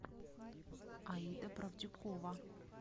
аида правдюкова